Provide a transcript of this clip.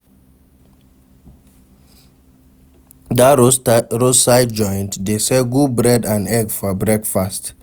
Dat roadside joint dey sell good bread and egg for breakfast.